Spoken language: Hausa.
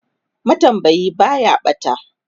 matambayi Baya ɓata